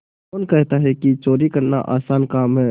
कौन कहता है कि चोरी करना आसान काम है